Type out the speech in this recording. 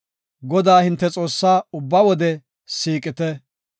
Godaa, hinte Xoossaa ubba wode siiqite.